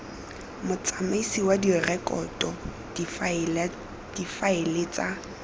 motsamaisi wa direkoto difaele tsa